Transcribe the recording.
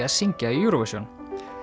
að syngja í Eurovision